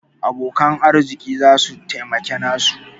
Abokan arziki za su taimaki nasu.